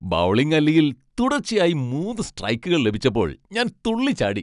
Bowling അല്ലിയിൽ തുടർച്ചയായി മൂന്ന് സ്ട്രൈക്കുകൾ ലഭിച്ചപ്പോൾ ഞാൻ തുള്ളിച്ചാടി.